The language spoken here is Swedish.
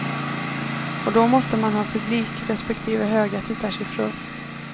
Och då måste man ha publik, respektive höga tittarsiffror.